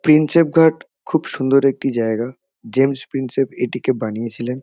Prinsep Ghat খুব সুন্দর একটি জায়গা। জেমস প্রিন্সেপ এটিকে বানিয়েছিলেন।